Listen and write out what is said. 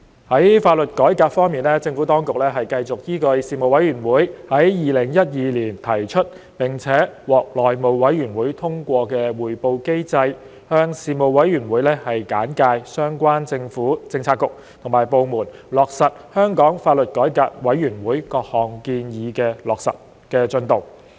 在法律改革方面，政府當局繼續依據事務委員會於2012年提出並獲內務委員會通過的匯報機制，向事務委員會簡介相關政府政策局及部門落實香港法律改革委員會各項建議的進度。